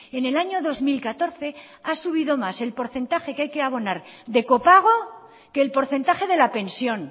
en el año dos mil catorce ha subido más el porcentaje que hay que abonar de copago que el porcentaje de la pensión